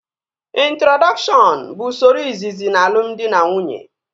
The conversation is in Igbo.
Introdọkshọn bụ usoro izizi n'alumdị na nwunye